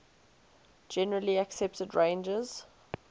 generally accepted ranges